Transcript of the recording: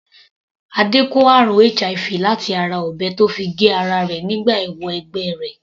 Adé kó àrùn HIV láti ara ọ̀bẹ tó fi gé ara rẹ̀ nígbà ìwọ - ẹgbẹ́ rẹ̀.